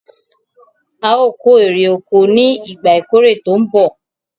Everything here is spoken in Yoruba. Aò kó ère oko ni "ìgbà ìkórè tòun bọ̀".